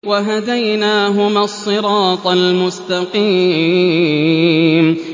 وَهَدَيْنَاهُمَا الصِّرَاطَ الْمُسْتَقِيمَ